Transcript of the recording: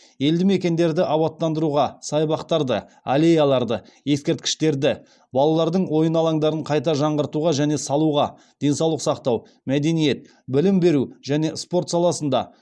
елді мекендерді абаттандыруға саябақтарды аллеяларды ескерткіштерді балалардың ойын алаңдарын қайта жаңартуға және салуға денсаулық сақтау мәдениет білім беру және спорт саласында